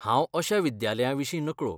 हांव अश्या विद्यालयांविशीं नकळो.